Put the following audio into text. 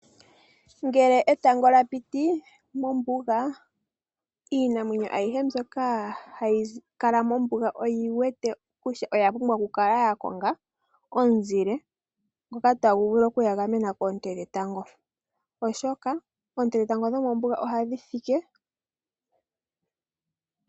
Ngele etango lya piti mombuga. Iinamwenyo ayihe mbyoka hayi kala mombuga oyi wete kutya oya pumbwa oku kala ya konga omuzile ngoka tagu vulu okuyi gamena koonte dhetango oshoka oonte dhetango dhomombuga ohadhi fike.